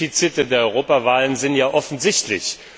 Die Defizite der Europawahlen sind ja offensichtlich.